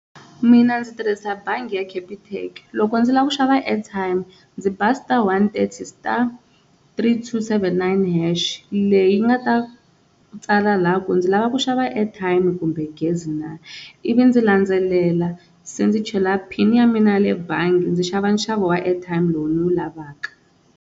Mina ndzi tirhisa bangi ya Capitec loko ndzi lava ku xava airtime ndzi ba star one thirty star, three two seven nine hash leyi nga ta tsala la ku ndzi lava ku xava airtime kumbe gezi na, ivi ndzi landzelela se ndzi chela pin ya mina ya le bangi ndzi xava nxavo wa airtime lowu ni wu lavaka.